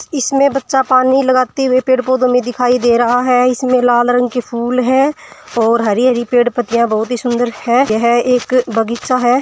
इसमें बच्चा पानी लगाते हुई पेड़ पौधों में दिखाई दे रहा है इसमें लाल रंग के फूल है और हरी हरी पेड़ पत्तिया बहुत ही सुन्दर है यह एक बगीचा है।